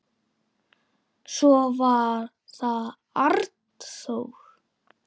Svo var það Arnþór.